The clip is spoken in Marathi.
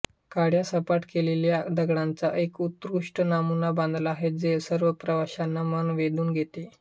काळ्या सपाट केलेल्या दगडांचा एक ऊत्कृष्ट नमुना बांधला आहे जे सर्व प्रवाशांच मन वेधुन घेते